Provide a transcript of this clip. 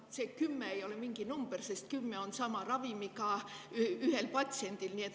See 10 ei ole mingi number, sest võib olla 10 sama ravimit vajavat patsienti või üks patsient.